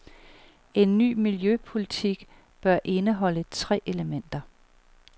En ny miljøpolitik bør indeholde tre elementer.